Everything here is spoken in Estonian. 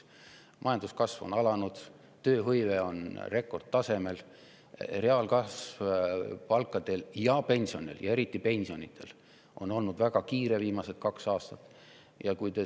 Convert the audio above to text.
Majanduskasv on alanud, tööhõive on rekordtasemel, palkade ja pensionide – ja eriti pensionide – reaalkasv on olnud viimased kaks aastat väga kiire.